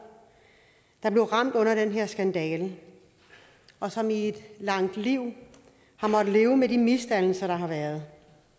der blev ramt af den her skandale og som i et langt liv har måttet leve med de misdannelser der har været